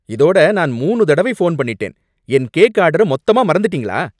இதோட நான் மூணு தடவை ஃபோன் பண்ணிட்டேன். என் கேக் ஆர்டர மொத்தமா மறந்துட்டீங்களா?